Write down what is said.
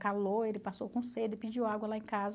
Calor, ele passou com sede, pediu água lá em casa.